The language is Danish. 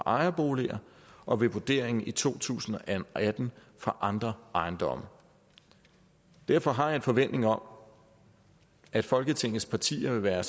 ejerboliger og vurderingen i to tusind og atten af andre ejendomme derfor har jeg en forventning om at folketingets partier vil være